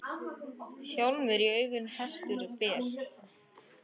Hjálm í auga hestur ber.